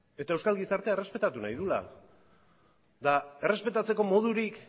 eta euskal gizartea errespetatu nahi duela eta errespetatzeko modurik